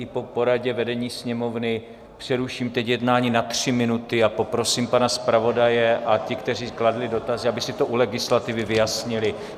I po poradě vedení Sněmovny přeruším teď jednání na tři minuty a poprosím pana zpravodaje a ty, kteří kladli dotazy, aby si to u legislativy vyjasnili.